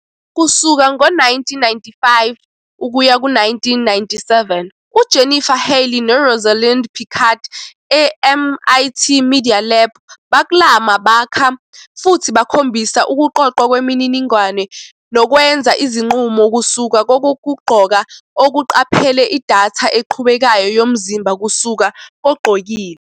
Kusuka ngo-1995-1997, uJennifer Healey noRosalind Picard eMIT Media Lab baklama, bakha futhi bakhombisa ukuqoqwa kwemininingwane nokwenza izinqumo kusuka kokugqoka okuqaphele idatha eqhubekayo yomzimba kusuka kogqokile.